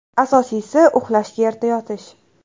Asosiysi – uxlashga erta yotish.